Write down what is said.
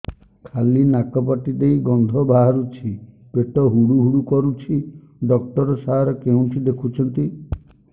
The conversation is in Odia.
ଖାଲି ନାକ ପାଟି ଦେଇ ଗଂଧ ବାହାରୁଛି ପେଟ ହୁଡ଼ୁ ହୁଡ଼ୁ କରୁଛି ଡକ୍ଟର ସାର କେଉଁଠି ଦେଖୁଛନ୍ତ